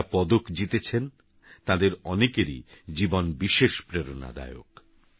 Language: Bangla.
যাঁরাপদকজিতেছেনতাঁদেরঅনেকেরইজীবনবিশেষপ্রেরণাদায়ক